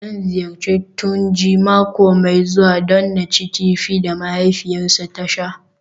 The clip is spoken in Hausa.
Zan ziyarci Tunji mako mai zuwa don in ci kifi da mahaifiyarsa ta sha